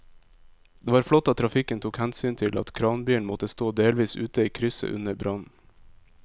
Det var flott at trafikken tok hensyn til at kranbilen måtte stå delvis ute i krysset under brannen.